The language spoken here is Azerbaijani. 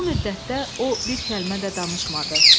Bu müddətdə o bir kəlmə də danışmadı.